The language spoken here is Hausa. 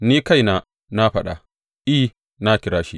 Ni kaina, na faɗa; I, na kira shi.